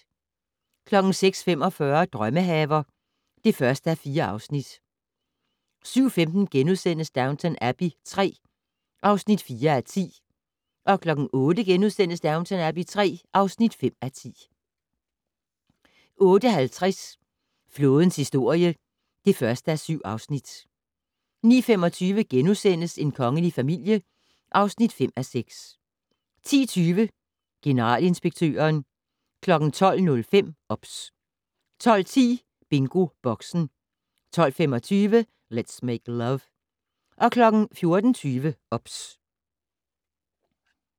06:45: Drømmehaver (1:4) 07:15: Downton Abbey III (4:10)* 08:00: Downton Abbey III (5:10)* 08:50: Flådens historie (1:7) 09:25: En kongelig familie (5:6)* 10:20: Generalinspektøren 12:05: OBS 12:10: BingoBoxen 12:25: Let's Make Love 14:20: OBS